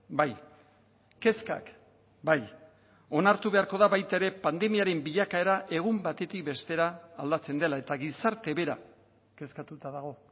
bai kezkak bai onartu beharko da baita ere pandemiaren bilakaera egun batetik bestera aldatzen dela eta gizarte bera kezkatuta dago